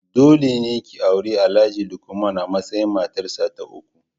Dole ne ki auri Alhaji Lukman a matsayin matarsa ta uku.